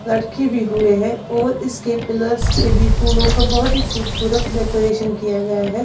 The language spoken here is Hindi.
लड़की भी हुए हैं और इसके प्लस ये भी फूलों का बहुत ही खूबसूरत डेकोरेशन किया गया है।